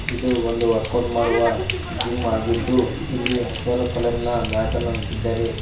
ಇದು ಒಂದು ವರ್ಕೌಟ್ ಮಾಡುವ ಜಿಮ್ ಆಗಿದ್ದು ಇಲ್ಲಿ ಹಸಿರ ಕಲರ್ ನ ಮ್ಯಾಟನ್ನು ಹಾಕಿದ್ದಾರೆ.